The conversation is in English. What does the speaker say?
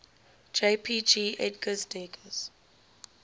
jpg edgar degas